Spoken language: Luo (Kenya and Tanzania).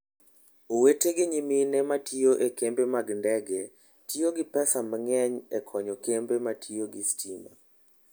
Owete gi nyimine ma tiyo e kembe mag ndege tiyo gi pesa mang'eny e konyo kembe ma tiyo gi stima.